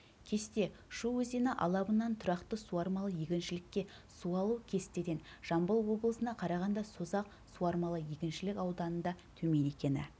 кесте шу өзеніалабынан тұрақты суармалы егіншілікке су алу кестеден жамбыл облысына қарағанда созақ суармалы егіншілік ауданында төмен екені